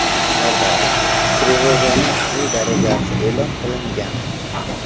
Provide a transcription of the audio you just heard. Shaharda trevoganing qizil darajasi e’lon qilingan.